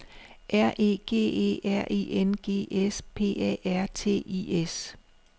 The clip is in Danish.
R E G E R I N G S P A R T I S